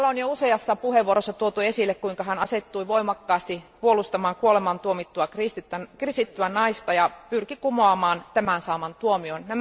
Useassa puheenvuorossa on jo tuotu esiin kuinka hän asettui voimakkaasti puolustamaan kuolemaantuomittua kristittyä naista ja pyrki kumoamaan tämän saaman tuomion.